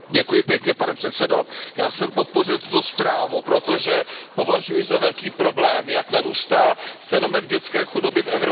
Pane předsedající, já jsem podpořil tuto zprávu, protože považuji za velký problém, jak narůstá fenomén dětské chudoby v Evropě.